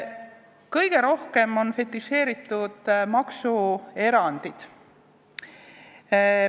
Kõige rohkem on fetišeeritud maksuerandid.